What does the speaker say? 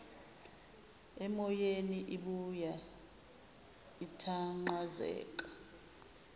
emoyeni ibuya ithanqazeka